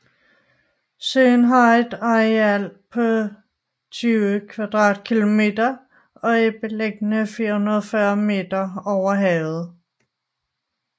Søen har et areal på 20 km² og er beliggende 440 meter over havet